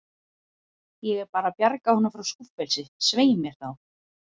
Ég er bara að bjarga honum frá skúffelsi, svei mér þá.